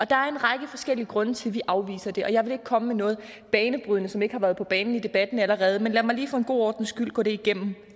der er en række forskellige grunde til at vi afviser det og jeg vil ikke komme med noget banebrydende som ikke har været på banen i debatten allerede men lad mig lige for god ordens skyld gå det igennem